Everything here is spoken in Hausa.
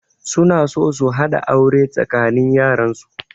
Suna so su haɗa aure tsakanin yaran su